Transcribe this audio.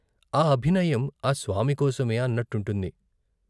ఆ అభినయం ఆ స్వామికోసమే అన్నట్టుంటుంది.